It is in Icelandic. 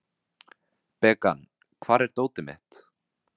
Bekan, hvar er dótið mitt?